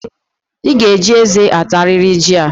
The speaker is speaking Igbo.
I ga-eji eze atariri jị a